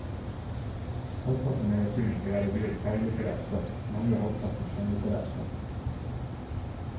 Halvparten av magasinet skal være viet faglitterært stoff, den andre halvparten skjønnlitterært stoff.